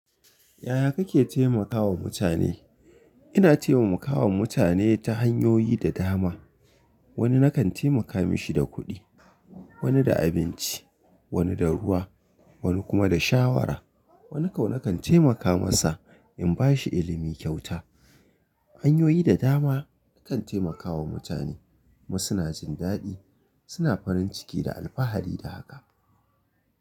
Yaya kake taimakawa mutane? Ina taimakawa mutane ta hanyoyi da dama. Wani na kan taimaka mishi da kuɗi, wani da abinci, wani da ruwa, wani kuma da shawara. Wani kau nakan taimaka masa in ba shi ilimi kyauta. Hanyoyi da dama na kan taimakawa mutane. Wasu na jindaɗi, suna farin ciki da alfahari da haka.